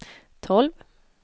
tolv